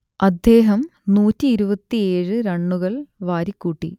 അദ്ദേഹം നൂറ്റിയിരുപത്തിയേഴ് റണ്ണുകൾ വാരിക്കൂട്ടി